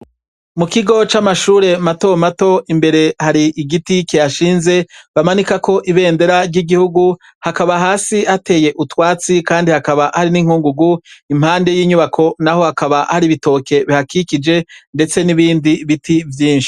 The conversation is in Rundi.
Mukigo camashure mato mato imbere hari igiti kihashinze bamanikako ibendera ryigihugu hakaba hasi hateye utwatsi kandi hakaba hari ninkungugu impande yinyubako naho hakaba hari ibitoke bihakikije ndetse nibindi biti vyinshi.